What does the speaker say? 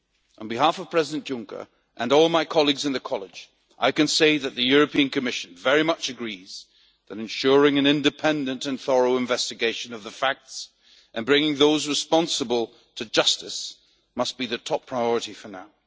On behalf of President Juncker and all my colleagues in the College, I can say that the Commission very much agrees that ensuring an independent and thorough investigation of the facts and bringing those responsible to justice must be the top priority for now.